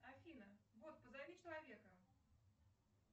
афина бот позови человека